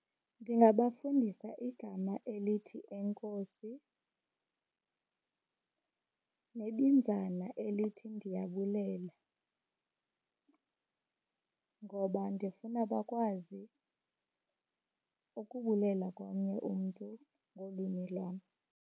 Ndingabafundisa igama elithi, enkosi, nebinzana elithi, ndiyabulela, ngoba ndifuna bakwazi ukubulela komnye umntu ngolwimi lwam.